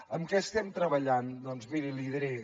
en què estem treballant doncs miri li ho diré